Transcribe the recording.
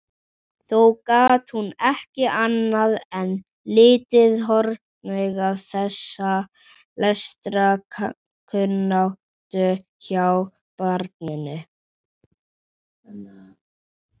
Þó gat hún ekki annað en litið hornauga þessa lestrarkunnáttu hjá barninu.